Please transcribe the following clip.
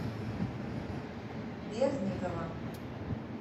бердникова